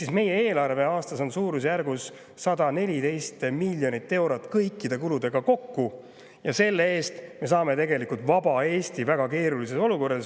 – ehk meie eelarve on aastas suurusjärgus 114 miljonit eurot kõikide kuludega kokku ja selle eest me saame vaba Eesti väga keerulises olukorras.